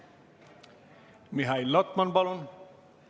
Mihhail Lotman, palun!